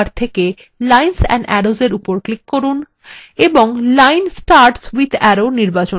অঙ্কন toolbar থেকে lines and arrows arrow উপর click from এবং line starts with arrow নির্বাচন from